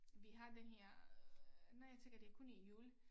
Vi har den her øh nej jeg tænker det kun i jul